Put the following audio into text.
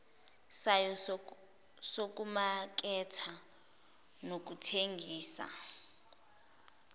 sayo sokumaketha nokuthengisa